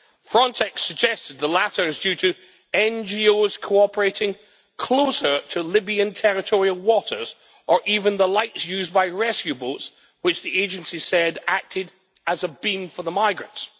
Frontex suggested the latter is due to NGOs cooperating closer to Libyan territorial waters' or even the lights used by rescue boats, which the agency said acted as a beam for the migrants'.